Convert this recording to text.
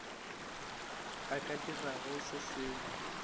a ka dirago se sengwe